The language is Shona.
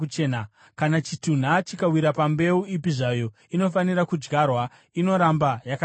Kana chitunha chikawira pambeu ipi zvayo inofanira kudyarwa, inoramba yakachena.